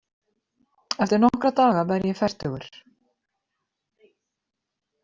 Eftir nokkra daga verð ég fertugur.